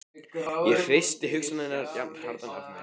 Ég hristi hugsanirnar jafnharðan af mér.